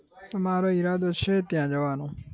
તો મારો ઈરાદો છે ત્યાં જવાનો.